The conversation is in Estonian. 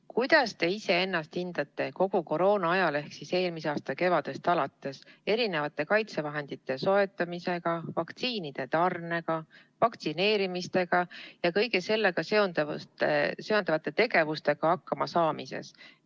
Kuidas te iseennast hindate kogu koroonaajal ehk siis eelmise aasta kevadest alates erinevate kaitsevahendite soetamise, vaktsiinitarnete, vaktsineerimise ja kõige sellega seonduva tegevusega hakkama saamises?